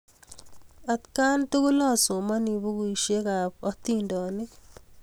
Atkan tukul asomani pukuisyek ap atindyonik